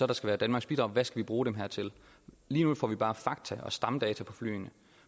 der skal være danmarks bidrag hvad vi skal bruge dem her til lige nu får vi bare fakta og stamdata på flyene